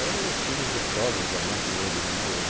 Ah, eram os filmes gostosos da Metro Goldwyn Mayer.